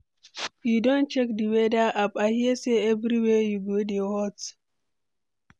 You don check the weather app? I hear sey everywhere go dey hot.